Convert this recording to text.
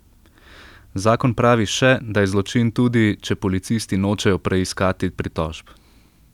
Zakon pravi še, da je zločin tudi, če policisti nočejo preiskati pritožb.